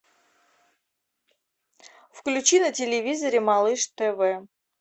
включи на телевизоре малыш тв